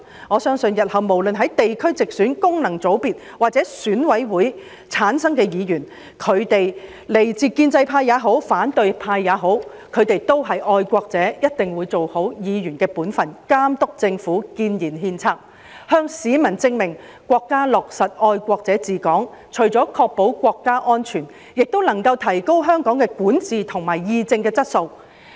我相信日後無論是經地區直選、功能界別或選委會界別產生的議員，來自建制派或反對派也好，他們也是愛國者，一定會做好議員的本份，監督政府，建言獻策，向市民證明國家落實"愛國者治港"，除了確保國家安全，亦能夠提高香港的管治和議政質素。